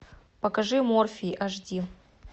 покажи морфий аш ди